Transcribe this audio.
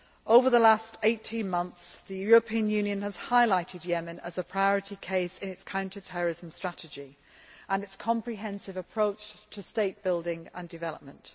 Over the last 18 months, the European Union has highlighted Yemen as a priority case in its counter terrorism strategy and its comprehensive approach to state building and development.